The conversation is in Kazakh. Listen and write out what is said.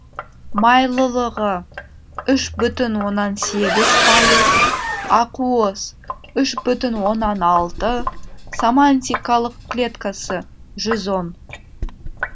майлылығы үш бүтін оннан сегіз пайыз ақуыз үш бүтін оннан алты самантикалық клеткасы жүз он